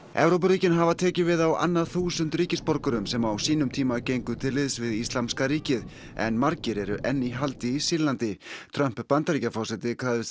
Evrópuríkin hafa tekið við á annað þúsund ríkisborgurum sem á sínum tíma gengu til liðs við Íslamska ríkið en margir eru enn í haldi í Sýrlandi Trump Bandaríkjaforseti krafðist